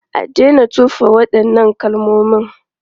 A daina tofa waɗannan kalmomin!